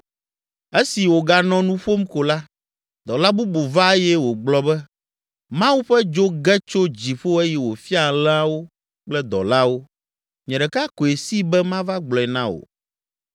Esi wòganɔ nu ƒom ko la, dɔla bubu va eye wògblɔ be, “Mawu ƒe dzo ge tso dziƒo eye wòfia alẽawo kple dɔlawo, nye ɖeka koe si be mava gblɔe na wò!”